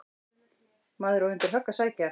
Maður á undir högg að sækja.